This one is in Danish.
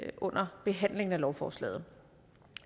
under behandlingen af lovforslaget